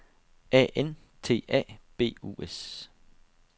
A N T A B U S